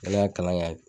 Kɛnɛya kalan kɛ